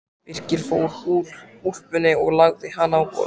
Birkir fór úr úlpunni og lagði hana á borðið.